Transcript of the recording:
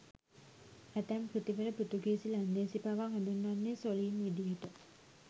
ඇතැම් කෘතිවල පෘතුගීසි ලන්දේසී පවා හඳුන්වන්නේ සොළීන් විදිහට.